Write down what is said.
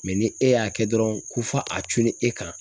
ni e y'a kɛ dɔrɔn ko fɔ a cunnen e kan